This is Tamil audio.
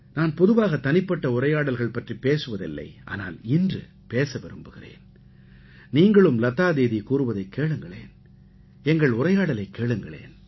நான் பொதுவாகத் தனிப்பட்ட உரையாடல்கள் பற்றிப் பேசுவது இல்லை ஆனால் இன்று பேச விரும்புகிறேன் நீங்களும் லதா தீதி கூறுவதைக் கேளுங்களேன் எங்கள் உரையாடலைக் கேளுங்களேன்